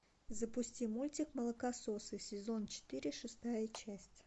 запусти мультик молокососы сезон четыре шестая часть